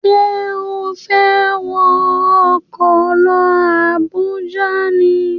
Ṣé o fẹ́ wọ ọkọ̀ lọ Àbújá ni?